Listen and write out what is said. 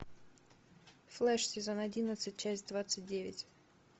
флэш сезон одиннадцать часть двадцать девять